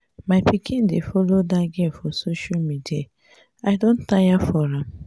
my pikin dey follow dat girl for social media. i do tire for am.